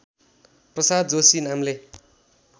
प्रसाद जोशी नामले